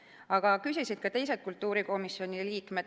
Aga küsisid ka teised kultuurikomisjoni liikmed.